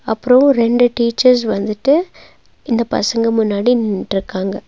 அப்றோ ரெண்டு டீச்சர்ஸ் வந்துட்டு இந்த பசங்க முன்னாடி நின்ட்ருக்காங்க.